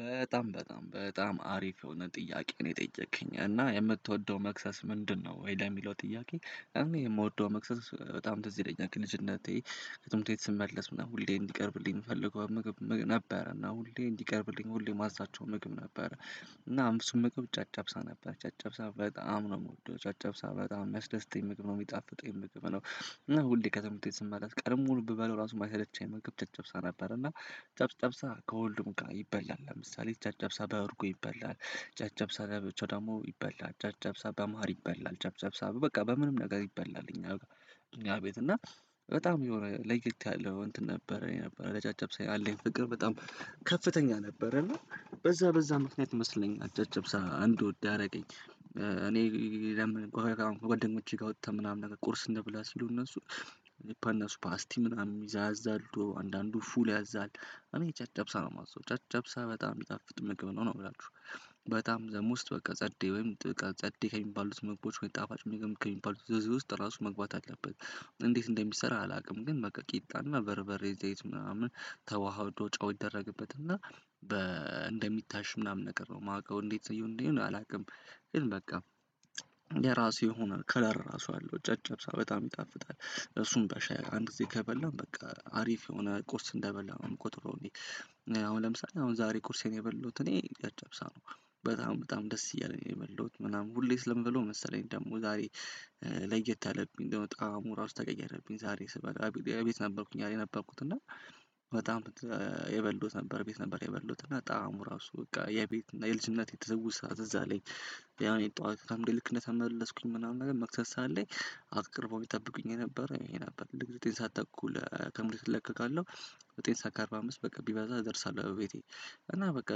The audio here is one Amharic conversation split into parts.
በጣም በጣም በጣም አሪፍ የሆነ ጥያቄ ነው የጠየከኝ እና የምትወደው መክሰስ ምንድነው? ወደ ለሚለው ጥያቄ እኔ የምወደው መክሰስ በጣም ትዝ ይለኛል ከልጅነቴ ከትምህርት ቤት ስመለስ ምናምን ሁሌም እንዲቀርብልኝ የምፈልገው ምግብ ነበረ እና ሁሌ እንዲቀርብልኝ ሁሌ የማዛቸው ምግብ ነበረ። እና እሱም ምግብ ጨጨብሳ ነበረ ጨጨብሳ በጣም ነው የምወደው ጨጨብሳ በጣም የሚያስደስተኝ ምግብ ነው የሚጣፍጠኝ ምግብ ነው። ሁሌ ከትምህርት ስመለስ ቀኑን ሙሉ ብበላው ራሱ ማይሰለቸኝ ምግብ ጨጨብሳ ነበር። እና ጨጨብሳ ከሁሉም ጋር ይበላል ለምሳሌ ጨጨብሳ በእርጎ ይበላል ጨጨብሳ ለብቻው ደግሞ ይበላል ጨጨብሳ በማር ይበላል ጨጨብሳ በቃ በምንም ነገር ይበላል። እኛ ቤት እና በጣም የሆነ ለይት ያለ እንትን ነበረ የነበረ ለጨጨብ ያለኝ ፍቅር በጣም ከፍተኛ ነበረን። በዛ በዛ ምክንያት ይመስለኛል ጨጨብሳ እንድወድ ያረገኝ። እኔ ለምን ከጓደኞቼ ጋር ወጥተን ምናምን ቁርስ እንብላ ሲሉ። እነሱ ፓስቲ ምናምን ይዛ ያዛሉ አንዳንዱ ፉል ያዛል እኔ ጨጨብሳ ነው የማዘው ጨጨብሳ በጣም ሚጣፍጥ ምግብ ነው ነው የምላቹ። በጣም ዘሞስት በቃ ጸዴ ወይም ጸዴ ከሚባሉት ምግቦች ጣፋጭ ምግብ ከሚባሉት ዝርዝር ውስጥ ራሱ መግባት አለበት። እንዴት እንደሚሰራ አላውቅም። ግን በቃ ቂጣን በሬበሬ ዘይት ምናምን ተዋህዶ ጨው ይደረግበት እና በ እንደሚታሽ ምናምን ነገር ነው የማውቀው እንዴት ይሁን ይሁን አላውቅም። ግን በቃ የራሱ የሆነ ከለር ራሱ አለው ጨጨብሳ በጣም ይጣፍጣል። እሱም በሻይ አንድ ጊዜ ከበላው በቃ አሪፍ የሆነ ቁርስ እንደበላው አምቆጥረው እኔ። አሁን ለምሳሌ አሁን ዛሬ ቁርሴን የበላዉት እኔ ጨጨብሳ ነው። በጣም በጣም ደስ እያለኝ ነው የበላውት ምናምን ሁሌ ስለምበላው መሰለኝ ደግሞ ዛሬ። ለየት አለብኝ እንደውም ጣዕሙ እራሱ ተቀየረብኝ ዛሬ ስበላ እቤት ነበርኩኝ ያለኝ ነበርኩት እና። በጣም የበላውት ነበር ቤት ነበር የበላውት እና ጣዕሙ ራሱ በቃ የቤት የልጅነቴ ትዉስታ ትዝ አለኝ። ያው እኔ ጠዋት አምዴ ልክ እንደተመለስኩኝ ምናምን ነገር መክሰስ ሰዓት ላይ። አቅርበዉልኝ የሚጠብቁኝ ነበር ይሄ ነበር እና ዘጠኝ ሰዓት ተኩል ከትምርት ቤት እለቀቃለሁ። ዘጠኝ ሰዓት እአርባ አምስት በቃ ቢበዛ እደርሳለሁ ቤቴ። እና በቃ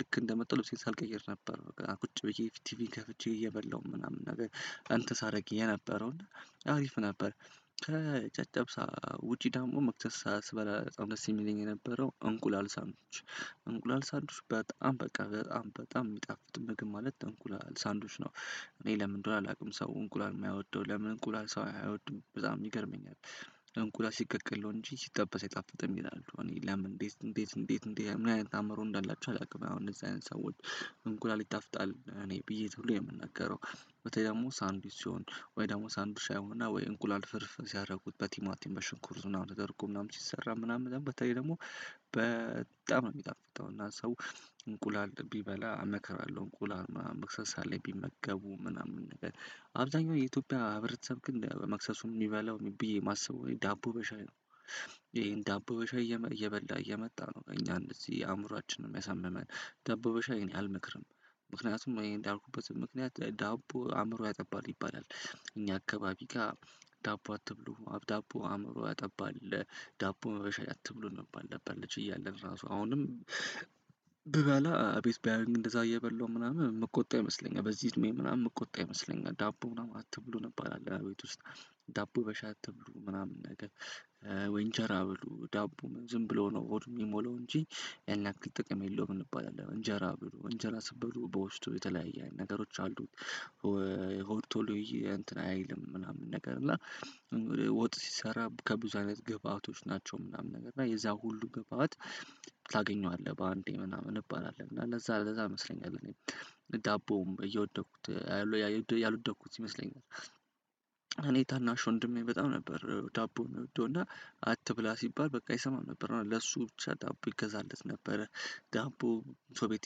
ልክ እንደመጣሁ ልብሴን ሳልቀይር ነበር በቃ ቁጭ ብዬ ቲቪ ከፍቼ እየበላሁ ምናምን ነገር አንትን ሳረግዬ የነበረው እና አሪፍ ነበር። ከጨጨብሳ ውጪ ደግሞ መክሰስ ስበላ በጣም ደስ የሚለኝ የነበረው እንቁላል ሳንዱች። እንቁላል ሳንዱች በጣም በቃ በጣም በጣም የሚጣፍጥ ምግብ ማለት እንቁላል ሳንዱች ነው። እኔ ለምን እንድሆነ አላውቅም ሰው እንቁላል የማይወደው ለምን እንቁላል ሰው አይወድም በጣም ይገርመኛል። እንቁላል ሲቀቀል ነው እንጂ ሲጠበስ አይጣፍጥም ይላሉ እኔ ለምን እንዴት እንዴት እንዴት እንዴት ምን አይነት አእምሮ እንዳላችው አላውቅም አሁን እንደዚህ አይነት ሰዎች። እንቁላል ይጣፍጣል እኔ ብዬ ብሎ የምናረው። በተለይ ደግሞ ሳንዱች ሲሆን ወይ ደግሞ ሳንዱች ሳንዱች አይሁን እና ወይ እንቁላል ፍርፍር ሲያደርጉት በቲማቲም በሽንኩርት ምናምን ተደርጎ ምናምን ሲሰራ ምናምን በተለይ ደግሞ በጣም ነው የሚጣፍጠው። እና ሰው እንቁላል ቢበላ አመከራለሁ እንቁላል መክሰስ ሰዓት ላይ ቢመገቡ ምናምን ነገር። አብዛኛው የኢትዮጵያዊ ህብረተሰብ ግን መክሰሱን የሚበላው ብዬ የማስበው ዳቦ በሻይ ነው። ይሄን ዳቦ በሻይ እየበላ እየመጣ ነው እኛ እንደዚህ አእምሮአችንን የሚያሳምመን ዳቦ በሻይ አልመክርም። ምክንያቱም እንዳልኩበት ምክንያት ዳቦ አእምሮ ያጠባል ይባላል። እኛ አካባቢ ጋ ዳቦ አትብሉ ዳቦ አእምሮ ያጠባል። ዳቦ በሻይ አትብሉ ነበር ነበር ልጅ ራሱ አሁንም። ብባላ ቤት ቢያዩኝ እንደዛ እየበላሁ ምናምን የምቆጣ ይመስለኛል በዚህ እድሜ ምናምን የምቆጣ ይመስለኛል ዳቦ ምናምን እንባላለን ቤት ውስጥ ዳቦ በሻይ አትብሉ ምናምን ነገር። ወይ እንጀራ ብሉ ዳቦ ዝም ብሎ ነው ሆድ የሚሞላው እንጂ። ያን ያክል ጥቅም የለውም እንባላለን እንጀራ ብሉ እንጀራ ስትበሉ በውስጡ የተለያየ ነገሮች አሉ። ሆድ ቶሎ እንትን አይልም ምናምን ነገር እና ወጥ ሲሰራ ከብዙ አይነት ገብአቶች ናቸው ምናምን ነገር እና የዛ ሁሉ ግብአባት። ታገኘዋለህ በአንዴ ምናምን እንባላለን እና እንደዛ ለዛ ይመስለኝም። ይሄን ዳቦ በሻይ እየበላ እየመጣ ነው እኛ እንደዚህ አእምሮአችንን የሚያሳምመን ዳቦ በሻይ አልመክርም ምክንያቱም እንዳልኩበት ምክንያት ዳቦ አእምሮ ያጠባል ይባላል። እኛ አካባቢ ጋ ዳቦ አትብሉ ዳቦ አእምሮ ያጠባል ዳቦ በሻይ አትብሉ ነበር ነበር ልጅ ራሱ አሁንም ዳቦ ሰው ቤት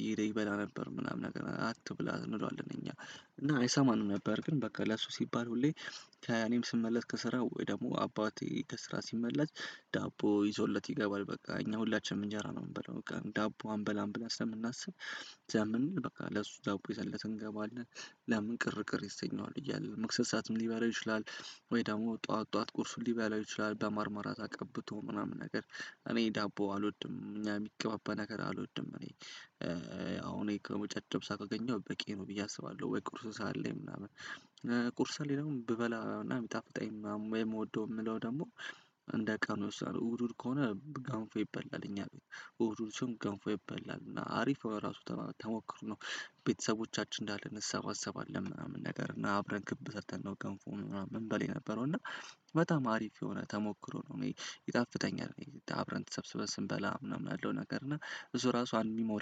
እየሄደ ይበላ ነበር ምናምን ነገር አትብላ እንለዋለን እኛ። እና አይሰማንም ነበር ግን በቃ ለሱ ሲባል ሁሌ። ከእኔም ስመለስ ከስራ ወይ ደግሞ አባቴ ከስራ ሲመለስ። ዳቦ ይዞለት ይገባል በቃ እኛ ሁላችንም እንጀራ ነው የምንበላው በቃ ዳቦ አንበላም ብለን ስለምናስብ። ዘመን በቃ ለሱ ዳቦ ይዘን እንገባለን። ለምን ቅር ቅር ይሰኛል እያለ መክሰስ ሰዓትም ሊበላው ይችላል። ወይ ደግሞ ጠዋት ጠዋት ቁርሱን ሊበላው ይችላል በማር ማራት ቀብቶ ምናምን ነገር። እኔ ዳቦ አልወድም እኛ የሚቀባባ ነገር አልወድም እኔ። አሁን እኔ ጨጨብሳ ካገኘው በቂ ነው ብዬ አስባለሁ። ወይ ቁርስ ሰዓት ላይ ምናምን። ቁርስ ላይ ደግሞ ብበላና። የምወደው የምለው ደግሞ እንደ ቀኑ ይወስናል። እሁድ እሁድ ከሆነ ገንፎ ይበላል እኛ እሁድ እሁድ ሲሆን ገንፎ ይበላል እና አሪፍ የሆነ ራሱ ተሞክሮ ነው። ቤተሰቦቻችን እንዳለን እንሰባሰባለን ምናምን ነገር እና አብረን ክብ ሰርተን ነው ገንፎ ምናምን ምንበላ የነበረው እና። በጣም አሪፍ የሆነ ተሞክሮ ነው። ይጣፍተኛል አብረን ተሰብስበን ስንበላ ምናምን ያለው ነገር እና እሱ ራሱ አንድ ሚሞሪ